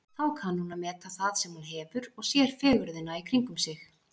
Þá kann hún að meta það sem hún hefur og sér fegurðina í kringum sig.